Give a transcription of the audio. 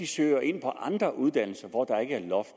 søger ind på andre uddannelser hvor der ikke er loft